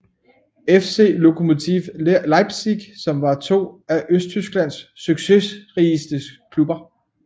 FC Lokomotive Leipzig som var to af Østtysklands succesrigeste klubber